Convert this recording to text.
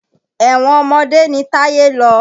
Ẹ̀wọ̀n ọmọdé ni Táyé lọ.